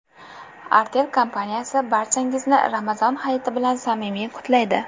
Artel kompaniyasi barchangizni Ramazon hayiti bilan samimiy qutlaydi.